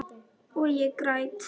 Og ég græt.